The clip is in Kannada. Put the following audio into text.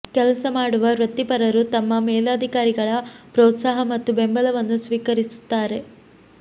ಕೆಲಸ ಮಾಡುವ ವೃತ್ತಿಪರರು ತಮ್ಮ ಮೇಲಧಿಕಾರಿಗಳ ಪ್ರೋತ್ಸಾಹ ಮತ್ತು ಬೆಂಬಲವನ್ನು ಸ್ವೀಕರಿಸುತ್ತಾರೆ